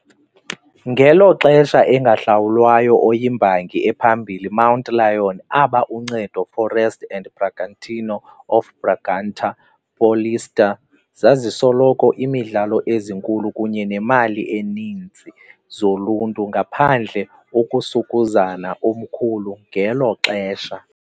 Ngelo xesha engahlawulwayo, oyimbangi ephambili Mountain Lion aba Uncedo Forest and Bragantino of Bragança Paulista, zazisoloko imidlalo ezinkulu kunye nemali eninzi zoluntu, ngaphandle ukusukuzana omkhulu ngelo xesha.